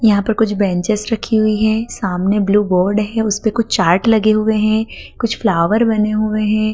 यहां पर कुछ बेंचेस रखी हुई हैं सामने ब्लू बोर्ड है उस पे कुछ चार्ट लगे हुए हैं कुछ फ्लावर बने हुए हैं।